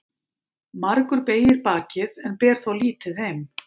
Margur beygir bakið en ber þó lítið heim.